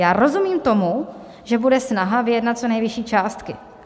Já rozumím tomu, že bude snaha vyjednat co nejvyšší částky.